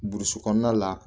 Burusi kɔnɔna la